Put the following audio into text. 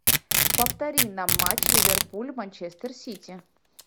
повтори нам матч ливерпуль манчестер сити